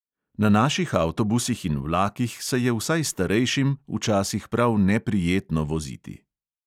Na naših avtobusih in vlakih se je vsaj starejšim včasih prav neprijetno voziti.